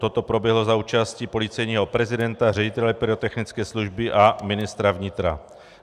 Toto proběhlo za účasti policejního prezidenta, ředitele pyrotechnické služby a ministra vnitra.